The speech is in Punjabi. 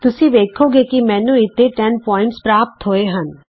ਤੁਸੀਂ ਵੇਖੋਗੇ ਕਿ ਮੈਨੂੰ ਇਥੇ 10 ਬਿੰਦੂ ਪ੍ਰਾਪਤ ਹੋਏ ਹਨ